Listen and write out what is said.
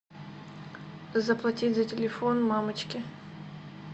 заплатить за телефон мамочки